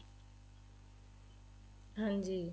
ਹਾਂਜੀ